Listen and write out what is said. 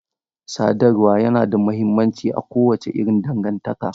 Sadarwa yana da mahimmanci a kowace irin dangantaka.